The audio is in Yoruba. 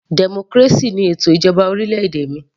Democracy ni ètò ìjọba orílẹ̀-èdè mi